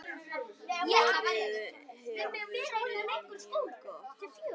Vorið hefur verið mjög gott.